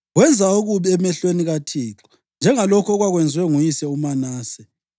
Wenza okubi emehlweni kaThixo, njengalokhu okwakwenziwe nguyise uManase.